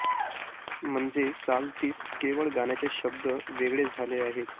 म्हणजे चाल तीच केवळ गाण्याचे शब्द वेगळे झाले आहेत